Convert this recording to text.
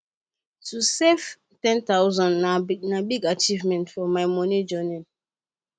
to save 10000 na big achievement for my moni journey